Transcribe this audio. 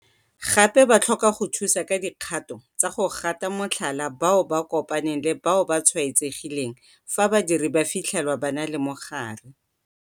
Gape ba tlhoka go thusa ka dikgato tsa go gata motlhala bao ba kopaneng le bao ba tshwaetsegileng fa badiri ba fitlhelwa ba na le mogare.